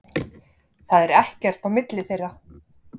Það er ekkert á milli þeirra.